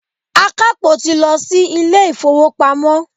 Akapo ti lọ sí ilé-ifowopamo.